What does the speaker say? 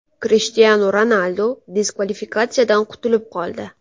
Krishtianu Ronaldu diskvalifikatsiyadan qutulib qoldi.